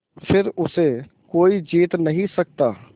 फिर उसे कोई जीत नहीं सकता